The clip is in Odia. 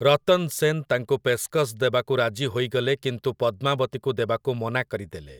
ରତନ୍ ସେନ୍ ତାଙ୍କୁ ପେଷ୍କସ୍ ଦେବାକୁ ରାଜି ହୋଇଗଲେ କିନ୍ତୁ ପଦ୍ମାବତୀକୁ ଦେବାକୁ ମନା କରିଦେଲେ ।